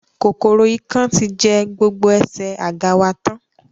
Kòkòrò ikán ti jẹ́ gbogbo ẹsẹ̀ àga wa tán